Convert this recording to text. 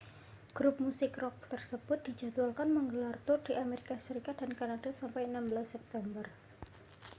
grup musik rok tersebut dijadwalkan menggelar tur di amerika serikat dan kanada sampai 16 september